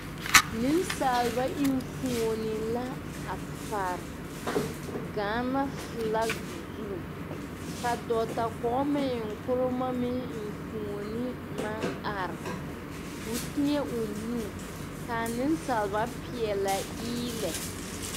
Nensaalaba enfuoni la a pare Gaana filaki zu ka dɔɔta Kwame Nkrumah meŋ enfuoni maŋ are k'o teɛ o nu ka anensaaleba peɛlɛ eelɛ.